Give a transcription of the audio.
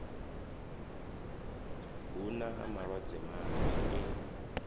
hu na malwadze manzhi e